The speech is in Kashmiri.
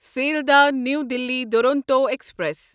Sealdah new Delhi Duronto express